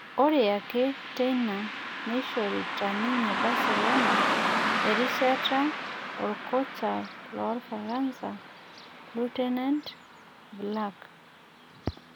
Ore ake teina neishorita ninye Barcelona erishata orkocha loorfaransa Laurent Blanc